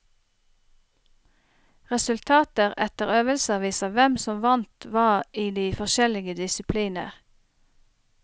Resultater etter øvelser viser hvem som vant hva i de forskjellige disipliner.